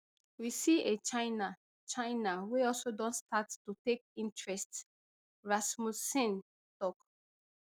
we see a china china wey also don start to take interest rasmussen tok